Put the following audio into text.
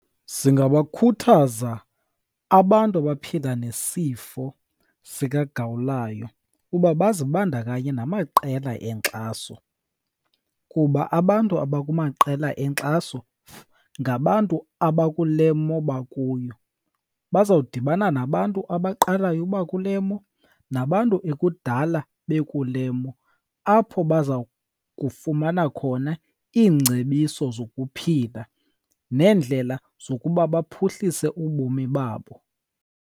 Singabakhuthaza abantu abaphila nesifo sikagawulayo uba bazibandakanye namaqela enkxaso, kuba abantu abakumaqela enkxaso ngabantu abakule mo bakuyo. Bazawudibana nabantu abaqalayo uba kule mo nabantu ekudala bekule mo, apho baza kufumana khona iingcebiso zokuphila neendlela zokuba baphuhlise ubomi babo.